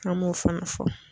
An m'o fana fɔ.